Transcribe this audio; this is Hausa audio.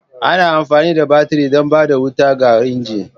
Ana amfani da baturi don ba da wuta ga injin.